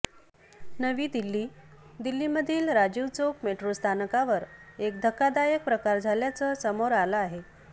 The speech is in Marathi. नवी दिल्ली दिल्लीमधील राजीव चौक मेट्रो स्थानकावर एक धक्कादायक प्रकार झाल्याचं समोर आलं आहे